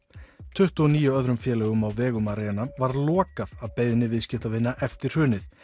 tuttugu og níu öðrum félögum á vegum Arena var lokað að beiðni viðskiptavina eftir hrunið